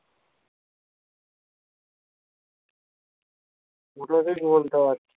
ওটাতেই